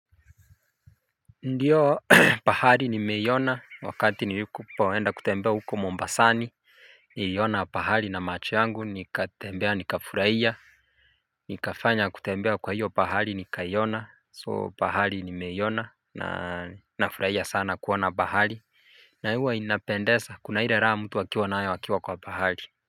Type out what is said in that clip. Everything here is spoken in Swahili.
Ndiyo pahari nimeiona wakati niliku poenda kutembea huko Mombasani, niliona pahali na macho yangu, nikatembea, nika furaia Nikafanya kutembea kwa hiyo pahari nikaiona, soo pahali nimeiona na nafurahia sana kuona pahari, na hiyo inapendeza, kuna ile raha mtu akiwa na nayo wakiwa kwa pahari.